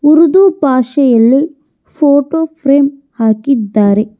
ಉರ್ದು ಭಾಷೆಯಲ್ಲಿ photo frame ಹಾಕಿದ್ದಾರೆ